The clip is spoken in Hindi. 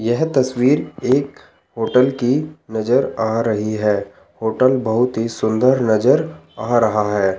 यह तस्वीर एक होटल की नजर आ रही है होटल बहोत ही सुंदर नजर आ रहा है।